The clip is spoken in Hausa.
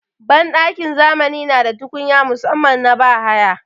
Banɗakin zamani na da tukunya musaman na bahaya.